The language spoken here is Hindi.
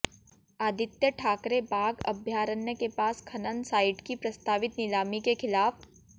आदित्य ठाकरे बाघ अभयारण्य के पास खनन साइट की प्रस्तावित नीलामी के खिलाफ